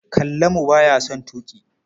Kallamu ba ya son tuƙi.